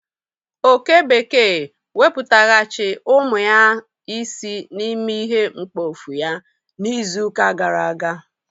Oke bekee wepụtaghachi umu ya isii na ime ihe mkpofu ya na izu ka gara aga